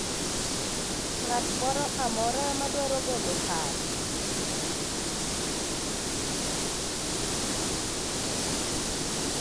ng'at moro amora madwaro golo paro ?